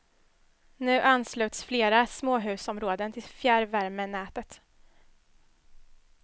Nu ansluts flera småhusområden till fjärrvärmenätet.